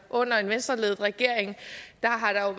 under en venstreledet regering har der